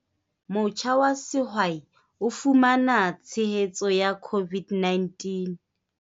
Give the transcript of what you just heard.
Motjha wa sehwai o fumana tshehetso ya COVID-19.